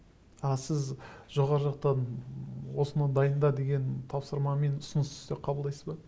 а сіз жоғары жақтан осыны дайында деген тапсырма мен ұсынысты қабылдайсыз ба